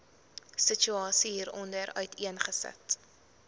situasie hieronder uiteengesit